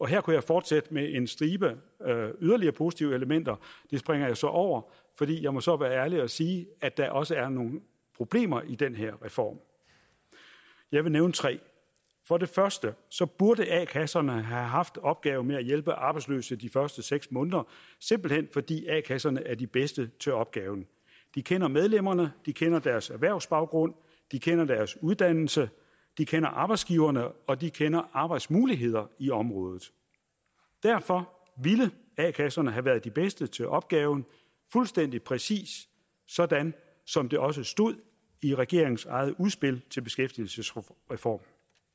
her kunne jeg fortsætte med en stribe yderligere positive elementer det springer jeg så over fordi jeg må så være ærlig og sige at der også er nogle problemer i den her reform jeg vil nævne tre for det første burde a kasserne have haft opgaven med at hjælpe arbejdsløse de første seks måneder simpelt hen fordi a kasserne er de bedste til opgaven de kender medlemmerne de kender deres erhvervsbaggrund de kender deres uddannelse de kender arbejdsgiverne og de kender arbejdsmuligheder i området derfor ville a kasserne have været de bedste til opgaven fuldstændig præcis sådan som det også stod i regeringens eget udspil til beskæftigelsesreform